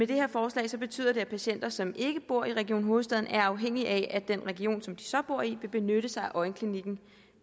det her forslag betyder at patienter som ikke bor region hovedstaden er afhængige af at den region som de så bor i vil benytte sig af øjenklinikken